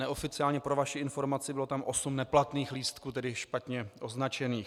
Neoficiálně, pro vaši informaci, bylo tam osm neplatných lístků, tedy špatně označených.